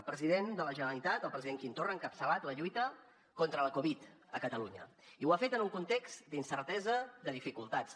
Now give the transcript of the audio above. el president de la generalitat el president quim torra ha encapçalat la lluita contra la covid a catalunya i ho ha fet en un context d’incertesa de dificultats